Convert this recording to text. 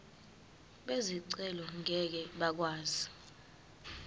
bezicelo ngeke bakwazi